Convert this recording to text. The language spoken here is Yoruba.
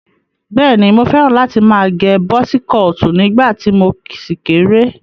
Bẹ́ẹ̀ni, mo fẹ́ràn láti má agẹ bọ́sí kọọ̀tì nígbà tí mo ṣì kéré.